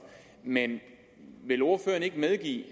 men vil ordføreren ikke medgive